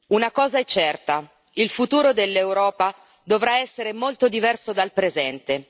Una cosa è certa il futuro dell'Europa dovrà essere molto diverso dal presente.